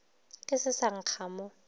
ke se sa nkga mo